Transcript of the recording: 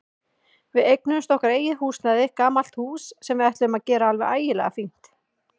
Við eignuðumst okkar eigið húsnæði, gamalt hús sem við ætluðum að gera alveg ægilega fínt.